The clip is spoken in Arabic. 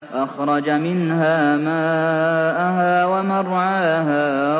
أَخْرَجَ مِنْهَا مَاءَهَا وَمَرْعَاهَا